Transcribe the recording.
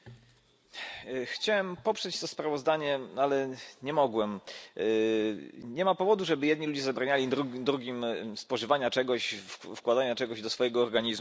Panie Przewodniczący! Chciałem poprzeć to sprawozdanie, ale nie mogłem. Nie ma powodu, żeby jedni ludzie zabraniali drugim spożywania czegoś, wkładania czegoś do swojego organizmu.